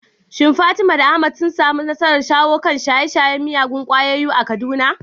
Shin Fatima da Ahmad sun samu nasarar shawo kan shaye-shayen miyagun ƙwayoyi a Kaduna?